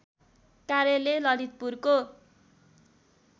कार्यालय ललितपुरको